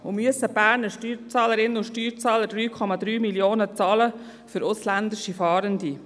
Und müssen die Berner Steuerzahlerinnen und Steuerzahler 3,3 Mio. Franken zahlen für ausländische Fahrende?